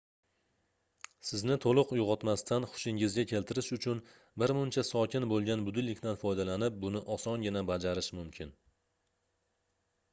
sizni toʻliq uygʻotmasdan xushingizga keltirish uchun birmuncha sokin boʻlgan budilnikdan foydalanib buni osongina bajarish mumkin